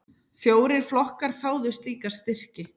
Fjórir flokkar þáðu slíka styrki.